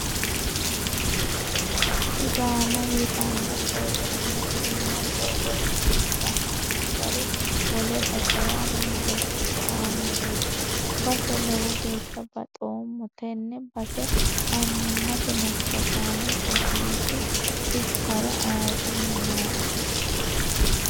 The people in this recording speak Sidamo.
Sidaama yitano borro minu iima borreesine ganonni gari wole basera rosicho aanoreti base lowo geeshsha baxoommo tene base annimate massagani loosiisu bissara ayirrinyu nooe.